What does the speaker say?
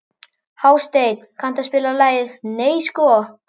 Hásteinn, kanntu að spila lagið „Nei sko“?